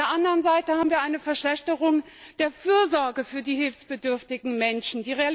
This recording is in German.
Auf der anderen Seite haben wir eine Verschlechterung der Fürsorge für die hilfsbedürftigen Menschen.